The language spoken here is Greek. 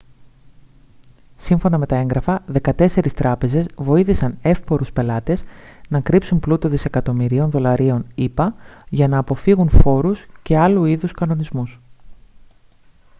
σύμφωνα με τα έγγραφα δεκατέσσερις τράπεζες βοήθησαν εύπορους πελάτες να κρύψουν πλούτο δισεκατομμυρίων δολαρίων ηπα για να αποφύγουν φόρους και άλλου είδους κανονισμούς